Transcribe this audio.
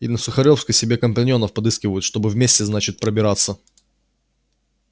и на сухаревской себе компаньонов подыскивают чтобы вместе значит пробираться